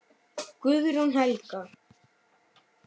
Guðrún Helga.